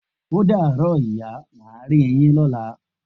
O daro ìyá, má ri yin lọla.